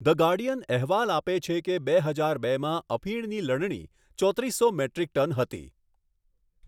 The Guardian અહેવાલ આપે છે કે બે હજાર બેમાં અફીણની લણણી ચોત્રીસો મેટ્રિક ટન હતી.